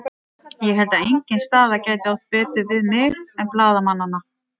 Ég held að engin staða gæti átt betur við mig en blaðamannanna.